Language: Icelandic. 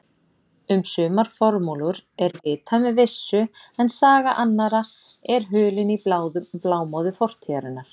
Um sumar formúlur er vitað með vissu en saga annarra er hulin í blámóðu fortíðarinnar.